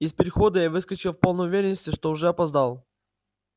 из перехода я выскочил в полной уверенности что уже опоздал